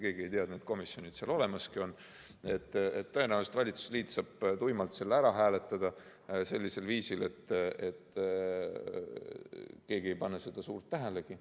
Keegi ei tea, et need komisjonid seal olemaski on, ja tõenäoliselt saab valitsusliit tuimalt selle ära hääletada sellisel viisil, et keegi ei pane seda suurt tähelegi.